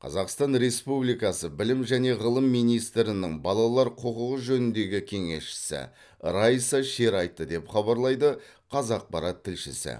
қазақстан республикасы білім және ғылым министрінің балалар құқығы жөніндегі кеңесшісі райса шер айтты деп хабарлайды қазақпарат тілшісі